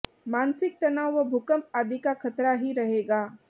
मानसिक तनाव व भूकंप आदि का खतरा ही रहेगा